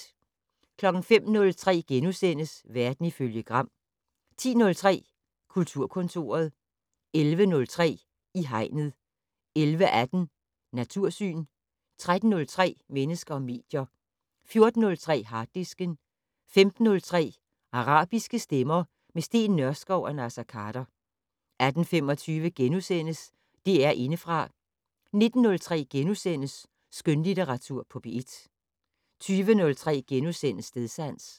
05:03: Verden ifølge Gram * 10:03: Kulturkontoret 11:03: I Hegnet 11:18: Natursyn 13:03: Mennesker og medier 14:03: Harddisken 15:03: Arabiske stemmer - med Steen Nørskov og Naser Khader 18:25: DR Indefra * 19:03: Skønlitteratur på P1 * 20:03: Stedsans *